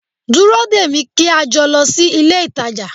Dúró dè mí kí a jọ lọ sí ilé-ìtàjà